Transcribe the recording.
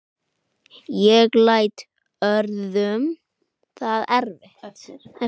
Ég læt öðrum það eftir.